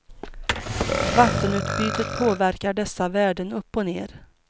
Vattenutbytet påverkar dessa värden upp och ner.